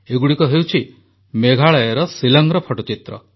ଏଗୁଡ଼ିକ ହେଉଛି ମେଘାଳୟର ଶିଲଂର ଫଟୋଚିତ୍ର